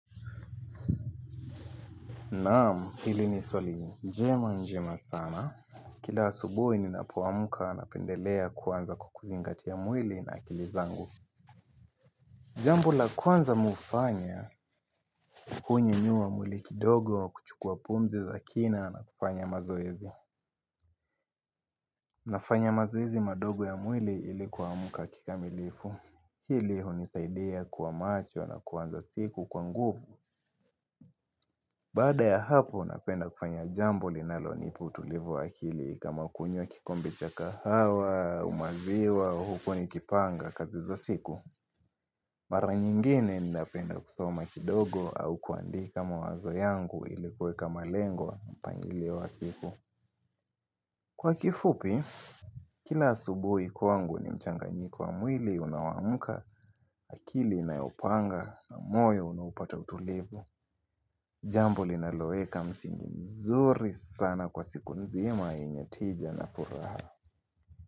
Naam, hili ni swali njema njema sana. Kila asubuhi ninapoamka napendelea kwanza kuzingatia ya mwili na akili zangu. Jambo la kwanza mimi hufanya, hunyanyua mwili kidogo wa kuchukua pumzi za kina na kufanya mazoezi. Nafanya mazoezi madogo ya mwili ili kuamka kikamilifu. Hili hunisaidia kuwa macho na kuanza siku kwa nguvu Baada ya hapo napenda kufanya jambo linalo nipea utulivu wa akili kama kunywa kikombe cha kahawa, umaziwa, huko nikipanga kazi za siku Mara nyingine ninapenda kusoma kidogo au kuandika mawazo yangu ilikuweka malengo pangilio wa siku. Kwa kifupi, kila asubuhi kwangu ni mchanganyiko wa mwili unaoamka akili inayopanga na moyo unaopata utulivu Jambo linaloeka msingi mzuri sana kwa siku nzima yenye tija na furaha.